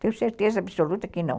Tenho certeza absoluta que não.